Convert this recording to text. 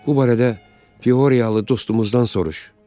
Bu barədə Fyoriyalı dostumuzdan soruş.